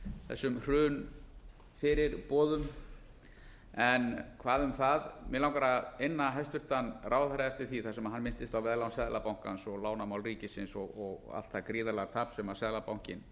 þessum hrunfyrirboðum hvað um það mig langar að inna hæstvirtan ráðherra eftir því sem hann minntist á um veðlán seðlabankans og lánamál ríkisins og allt það gríðarlega tap sem seðlabankinn